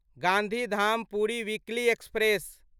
Gandhidham Puri weekly express